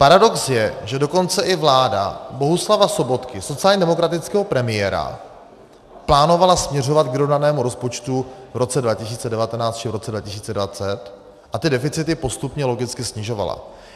Paradox je, že dokonce i vláda Bohuslava Sobotky, sociálně demokratického premiéra, plánovala směřovat k vyrovnanému rozpočtu v roce 2019 či v roce 2020 a ty deficity postupně logicky snižovala.